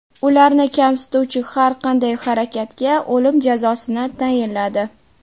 Ularni kamsituvchi har qanday harakatga o‘lim jazosini tayinladi .